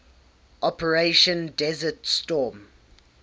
operation desert storm